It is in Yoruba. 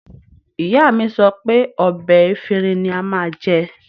Ìyá mi sọ pé ọ̀bẹ efinrin ni a máa jẹ